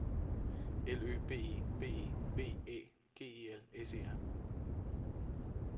L Ø B E B E V Æ G E L S E R